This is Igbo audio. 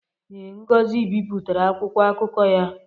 Ee, Ngozi bipụtara akwụkwọ akụkọ ya